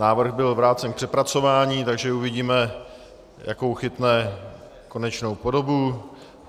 Návrh byl vrácen k přepracování, takže uvidíme, jakou chytne konečnou podobu.